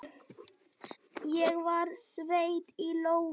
Ég var sveitt í lófunum.